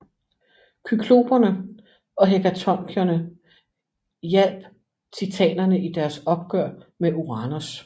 Kykloperne og hekatoncheirerne hjalp titanerne i deres opgør med Uranos